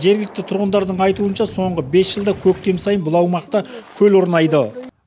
жергілікті тұрғындардың айтуынша соңғы бес жылда көктем сайын бұл аумақта көл орнайды